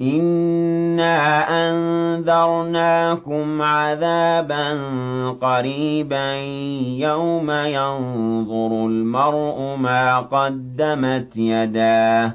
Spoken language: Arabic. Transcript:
إِنَّا أَنذَرْنَاكُمْ عَذَابًا قَرِيبًا يَوْمَ يَنظُرُ الْمَرْءُ مَا قَدَّمَتْ يَدَاهُ